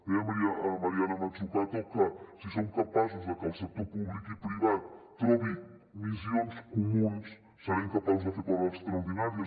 deia mariana mazzucato que si som capaços de que el sector públic i privat trobin missions comunes serem capaços de fer coses extraordinàries